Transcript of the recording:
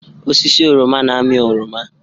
Osisi oroma na-amị oroma.